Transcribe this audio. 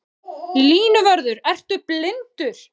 Línuvörður ertu blindur?